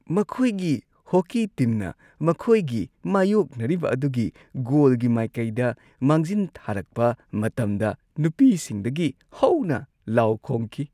ꯃꯈꯣꯏꯒꯤ ꯍꯣꯀꯤ ꯇꯤꯝꯅ ꯃꯈꯣꯏꯒꯤ ꯃꯥꯢꯌꯣꯛꯅꯔꯤꯕ ꯑꯗꯨꯒꯤ ꯒꯣꯜꯒꯤ ꯃꯥꯏꯀꯩꯗ ꯃꯥꯡꯖꯤꯟ ꯊꯥꯔꯛꯄ ꯃꯇꯝꯗ ꯅꯨꯄꯤꯁꯤꯡꯗꯒꯤ ꯍꯧꯅ ꯂꯥꯎ ꯈꯣꯡꯈꯤ꯫